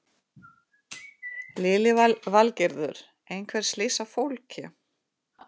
Lillý Valgerður: Einhver slys á fólki?